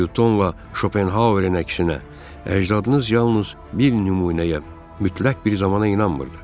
Nyutonla Şopenhauerin əksinə, əcdadınız yalnız bir nümunəyə, mütləq bir zamana inanmırdı.